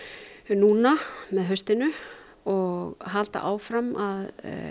núna með haustinu og halda áfram að